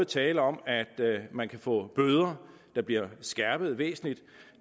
tale om at man kan få bøder der bliver skærpet væsentligt